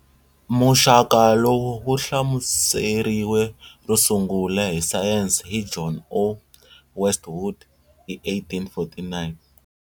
Muxaka lowu wu hlamuseriwe ro sungula hi sayense hi John O. Westwood hi 1849.